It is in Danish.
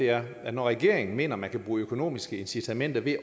er at når regeringen mener at man kan bruge økonomiske incitamenter ved